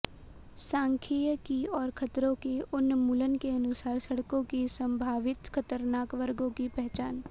सांख्यिकी और खतरों के उन्मूलन के अनुसार सड़कों की संभावित खतरनाक वर्गों की पहचान